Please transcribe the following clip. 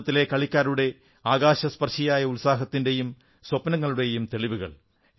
ഭാരതത്തിലെ കൡക്കാരുടെ ആകാശസ്പർശിയായ ഉത്സാഹത്തിന്റെയും സ്വപ്നങ്ങളുടെയും തെളിവുകൾ